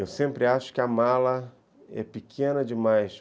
Eu sempre acho que a mala é pequena demais.